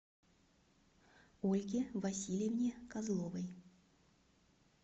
ольге васильевне козловой